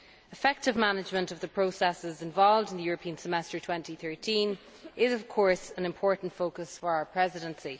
Effective management of the processes involved in European Semester 2013 is of course an important focus for our Presidency.